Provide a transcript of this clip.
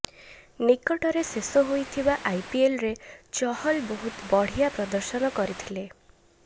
ନିକଟରେ ଶେଷ ହୋଇଥିବା ଆଇପିଏଲ୍ରେ ଚହଲ ବହୁତ ବଢ଼ିଆ ପ୍ରଦର୍ଶନ କରିଥିଲେ